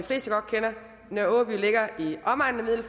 nørre aaby ligger i omegnen af